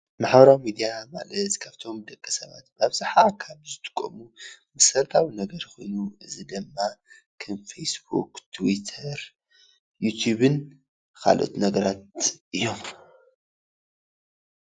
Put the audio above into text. ማሕበራዊ ሚድያ ማለት ካፍቶም ደቂ ሰብት ብኣብዛሓ ካብ ዝጥቀሙ መሰረታዊ ነገር ኾይኑ እዚ ድማ ከም ፌስቡክ፣ ትዊተር፣ ንቲቪን ካልኦት ነገራት እዮም፡፡